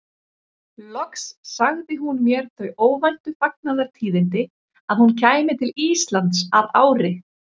Loks sagði hún mér þau óvæntu fagnaðartíðindi að hún kæmi til Íslands að ári.